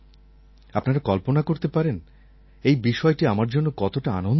আপনারা কল্পনা করতে পারেন এই বিষয়টি আমার জন্য কতটা আনন্দদায়ক